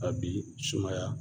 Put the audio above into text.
A bi sumaya